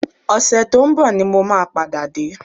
Ọ̀sẹ̀ tó ń bọ̀ ni mo máa padà dé